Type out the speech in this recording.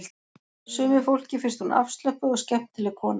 Sumu fólki finnst hún afslöppuð og skemmtileg kona